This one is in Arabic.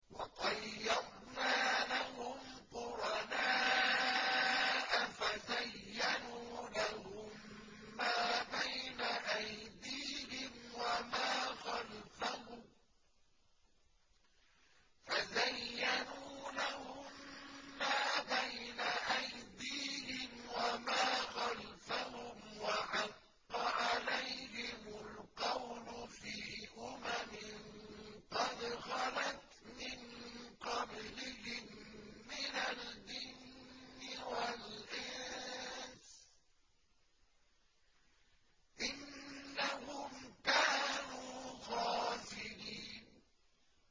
۞ وَقَيَّضْنَا لَهُمْ قُرَنَاءَ فَزَيَّنُوا لَهُم مَّا بَيْنَ أَيْدِيهِمْ وَمَا خَلْفَهُمْ وَحَقَّ عَلَيْهِمُ الْقَوْلُ فِي أُمَمٍ قَدْ خَلَتْ مِن قَبْلِهِم مِّنَ الْجِنِّ وَالْإِنسِ ۖ إِنَّهُمْ كَانُوا خَاسِرِينَ